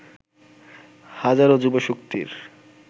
হাজারো যুবশক্তির